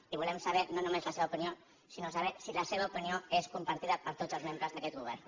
i volem saber no només la seva opinió sinó saber si la seva opinió és compartida per tots els membres d’aquest govern